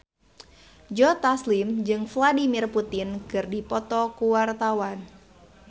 Joe Taslim jeung Vladimir Putin keur dipoto ku wartawan